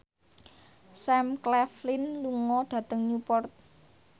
Sam Claflin lunga dhateng Newport